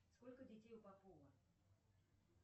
сколько детей у попова